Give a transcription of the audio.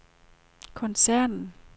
koncernen